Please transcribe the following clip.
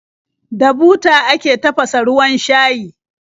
Da buta ake tafasa ruwan shayi.